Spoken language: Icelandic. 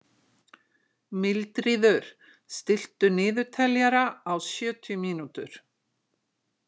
Mildríður, stilltu niðurteljara á sjötíu mínútur.